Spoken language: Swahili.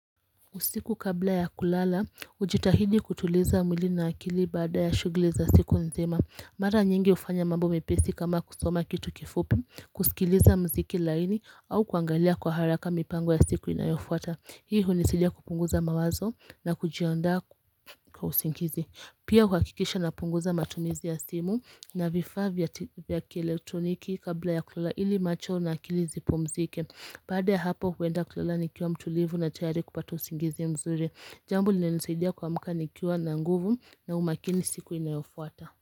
Usiku kabla ya kulala, hujitahidi kutuliza mwili na akili baada ya shughli za siku nzima. Mara nyingi hufanya mambo mepesi kama kusoma kitu kifupi, kusikiliza muziki laini au kuangalia kwa haraka mipango ya siku inayofuata. Hii hunisaidia kupunguza mawazo na kujiandaa kwa usingizi. Pia huhakikisha napunguza matumizi ya simu na vifaa vya kielektroniki kabla ya kulala ili macho na akili zipumzike. Baada ya hapo huenda kulala nikiwa mtulivu na tayari kupata usingizi mzuri. Jambo linalonisaidia kuamka nikiwa na nguvu na umakini siku inayofuata.